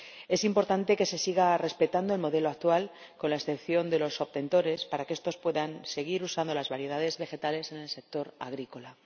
Es importante que se siga respetando el modelo actual, con la excepción de los obtentores, para que estos puedan seguir usando las variedades vegetales en el sector agrícola.